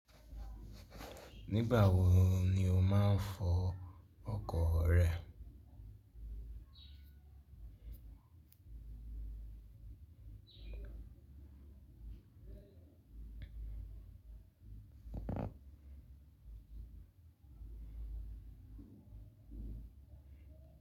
Nígbà wo ni o máa ń fọ ọkọ̀ rẹ?